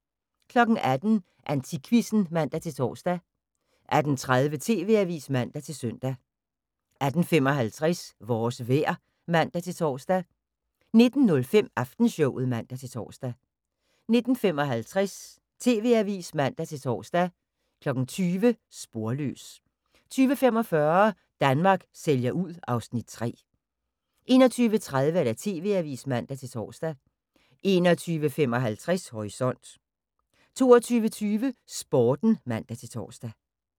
18:00: AntikQuizzen (man-tor) 18:30: TV-avisen (man-søn) 18:55: Vores vejr (man-tor) 19:05: Aftenshowet (man-tor) 19:55: TV-avisen (man-tor) 20:00: Sporløs 20:45: Danmark sælger ud (Afs. 3) 21:30: TV-avisen (man-tor) 21:55: Horisont 22:20: Sporten (man-tor)